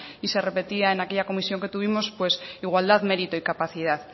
y se repetía en aquella comisión que tuvimos pues igualdad mérito y capacidad